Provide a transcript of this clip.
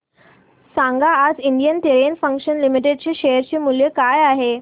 सांगा आज Indian Terrain Fashions Limited चे शेअर मूल्य काय आहे